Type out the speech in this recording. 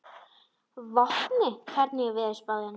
Vopni, hvernig er veðurspáin?